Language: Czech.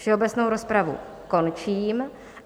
Všeobecnou rozpravu končím.